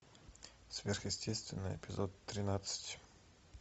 сверхъестественное эпизод тринадцать